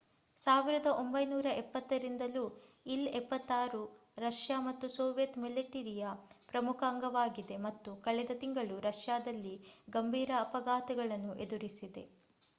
1970 ರಿಂದಲೂ ಇಲ್-76 ರಷ್ಯಾ ಮತ್ತು ಸೋವಿಯತ್ ಮಿಲಿಟರಿಯ ಪ್ರಮುಖ ಅಂಗವಾಗಿದೆ ಮತ್ತು ಕಳೆದ ತಿಂಗಳು ರಷ್ಯಾದಲ್ಲಿ ಗಂಭೀರ ಅಪಘಾತವನ್ನು ಎದುರಿಸಿದೆ